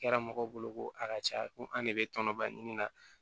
Kɛra mɔgɔw bolo ko a ka ca ko an de be tɔnɔba ɲini na